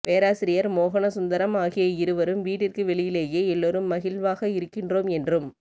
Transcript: பேராசிரியர் மோகனசுந்தரம் ஆகிய இருவரும் வீட்டிற்கு வெளியிலேயே எல்லோரும் மகிழ்வாக இருக்கின்றோம் என்றும்